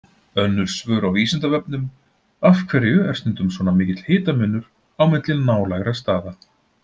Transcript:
Önnur svör á Vísindavefnum: Af hverju er stundum svona mikill hitamunur á milli nálægra staða?